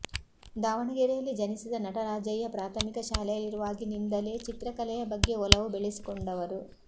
ದಾವಣಗೆರೆಯಲ್ಲಿ ಜನಿಸಿದ ನಟರಾಜಯ್ಯ ಪ್ರಾಥಮಿಕ ಶಾಲೆಯಲ್ಲಿರುವಾಗಿನಿಂದಲೇ ಚಿತ್ರಕಲೆಯ ಬಗ್ಗೆ ಒಲವು ಬೆಳೆಸಿಕೊಂಡವರು